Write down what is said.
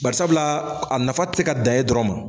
Barisabula a nafa tɛ se ka dan e dɔrɔn ma.